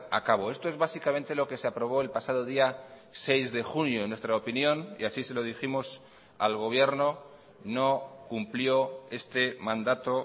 a cabo esto es básicamente lo que se aprobó el pasado día seis de junio en nuestra opinión y así se lo dijimos al gobierno no cumplió este mandato